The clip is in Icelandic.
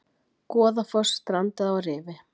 Goðafoss strandaði á rifi